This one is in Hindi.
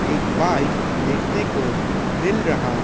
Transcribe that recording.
एक बाइक देखने को मिल रहा है।